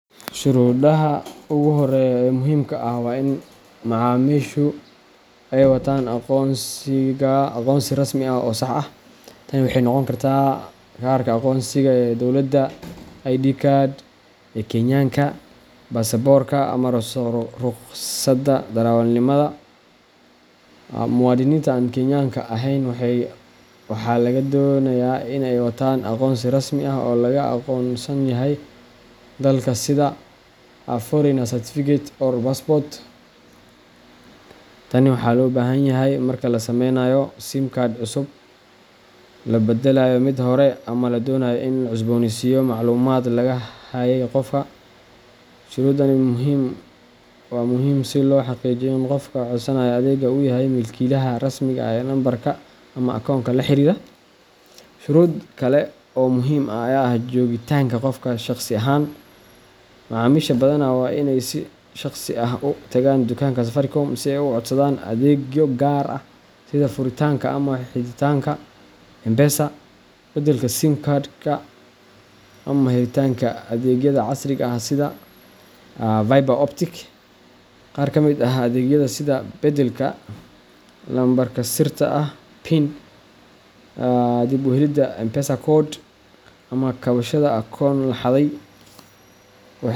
Shuruudaha ugu horreeya ee muhiimka ah waa in macaamiishu ay wataan aqoonsi rasmi ah oo sax ah. Tani waxay noqon kartaa kaarka aqoonsiga ee dowladda ID card ee Kenyaanka, baasaboorka, ama ruqsadda darawalnimada. Muwaadiniinta aan Kenyaanka ahayn waxaa laga doonayaa in ay wataan aqoonsi rasmi ah oo laga aqoonsan yahay dalka sida Foreigner Certificate or Passport. Tan waxaa loo baahan yahay marka la samaynayo SIM card cusub, la beddelayo mid hore, ama la doonayo in la cusbooneysiiyo macluumaadka laga hayay qofka. Shuruudani waa muhiim si loo xaqiijiyo in qofka codsanaya adeega uu yahay milkiilaha rasmiga ah ee nambarka ama akoonka la xiriira. Shuruud kale oo muhiim ah ayaa ah joogitaanka qofka shaqsi ahaan. Macaamiisha badanaa waa inay si shaqsi ah u tagaan dukaanka Safaricom si ay u codsadaan adeegyo gaar ah sida furitaanka ama xidhitaanka M-Pesa, beddelka SIM card ka, ama helitaanka adeegyada casriga ah sida fibre optic. Qaar ka mid ah adeegyada sida beddelka lambarka sirta ah PIN, dib u helidda M-Pesa code, ama kabashada akoon la xaday.